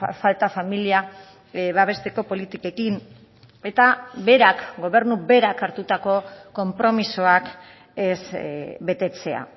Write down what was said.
falta familia babesteko politikekin eta berak gobernu berak hartutako konpromisoak ez betetzea